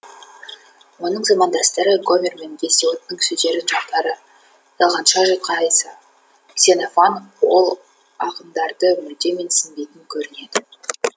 оның замандастары гомер мен гесиодтың сөздерін жақтары талғанша жатқа айтса ксенофан ол ақындарды мүлде менсінбейтін көрінеді